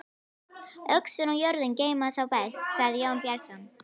Öxin og jörðin geyma þá best, sagði Jón Bjarnason.